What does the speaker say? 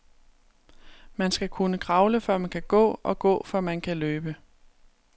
Man skal kunne kravle, før man kan gå, og gå, før man kan løbe.